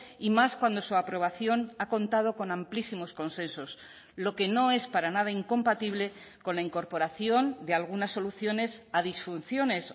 y más cuando su aprobación ha contado con amplísimos consensos lo que no es para nada incompatible con la incorporación de algunas soluciones a disfunciones